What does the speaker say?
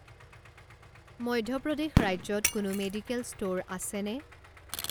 মধ্য প্ৰদেশ ৰাজ্যত কোনো মেডিকেল ষ্ট'ৰ আছেনে?